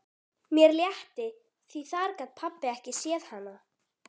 Mér létti því þar gat pabbi ekki séð hana.